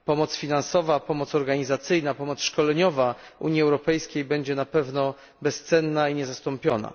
Pomoc finansowa, pomoc organizacyjna, pomoc szkoleniowa Unii Europejskiej będzie na pewno bezcenna i niezastąpiona.